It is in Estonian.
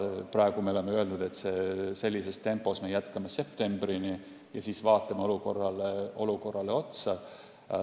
Praegu me oleme öelnud, et sellises tempos jätkame septembrini ja siis vaatame olukorrale otsa.